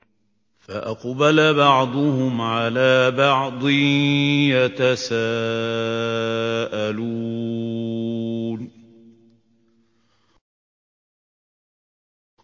فَأَقْبَلَ بَعْضُهُمْ عَلَىٰ بَعْضٍ يَتَسَاءَلُونَ